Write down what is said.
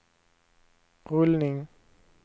rullning